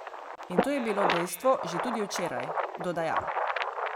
In to je bilo dejstvo že tudi včeraj, dodaja.